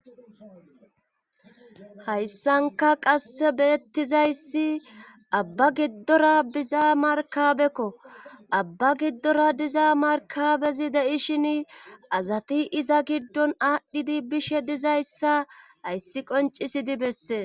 Hayssanka qasse beettizayssi abba giddora biza markabekko abba giddora diza markabezi deishin azati iza giddon aadhdhidi bishe dizayssa ayssi qoncisidi bessee.